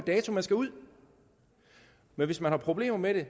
dato man skal ud men hvis man har problemer med det